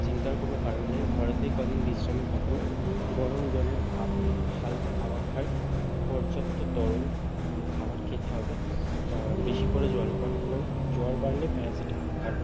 চিন্তার কোনো কারণ নেই ঘরেতে কয়দিন বিশ্রামে থাকুন। গরম জলের ভাপ নিন হালকা খাবার খান পর্যাপ্ত তরল উম খাবার খেতে হবে আহ বেশি করে জ্ল পান করুন জ্বর বাড়লে প্যারাসিটামল খান।